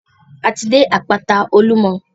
A ti dé àpáta Olúmọ.